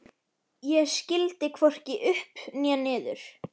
Ég skildi hvorki upp né niður.